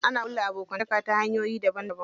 Ana ƙulla abokanta ta hanyoyi daban daban.